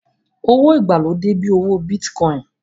Owó ìgbàlódé bíi owó Bíìtì